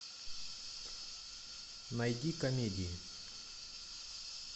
найди комедии